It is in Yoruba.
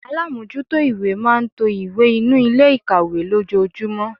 Alámójútó ìwé máa n to ìwé inú Ilé ikawe lójojúmó